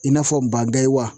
I n'a fɔ wa